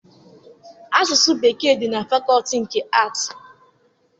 Asụsụ Bekee dị na fakọọti nke Aatị.